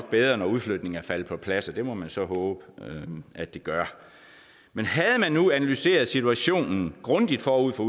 bedre når udflytningen er faldet på plads og det må man så håbe at det gør men havde man nu analyseret situationen grundigt forud for